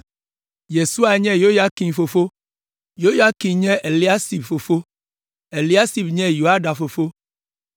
Yesua nye Yoyakim fofo, Yoyakim nye Eliasib fofo, Eliasib nye Yoiada fofo,